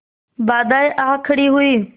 बाधाऍं आ खड़ी हुई